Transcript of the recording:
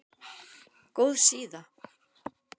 Góð síða